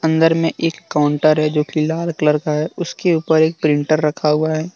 अंदर में एक काउंटर है जो कि लाल कलर का है उसके ऊपर एक प्रिंटर रखा हुआ है।